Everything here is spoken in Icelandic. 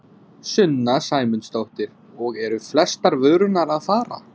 Sunna Sæmundsdóttir: Og eru flestar vörurnar að fara?